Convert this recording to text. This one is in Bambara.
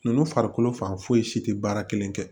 Ninnu farikolo fan foyi si tɛ baara kelen kɛ